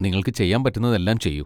നിങ്ങൾക്ക് ചെയ്യാൻ പറ്റുന്നതെല്ലാം ചെയ്യൂ.